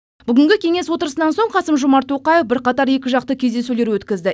бүгінгі кеңес отырысынан соң қасым жомарт тоқаев бірқатар екіжақты кездесулер өткізді